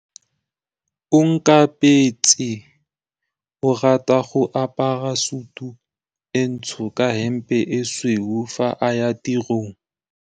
Onkabetse o rata go apara sutu e ntsho ka hempe e tshweu fa a ya tirong.